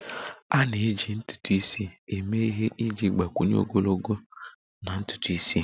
A na-eji ntutu isi eme ihe iji gbakwunye ogologo na ntutu isi.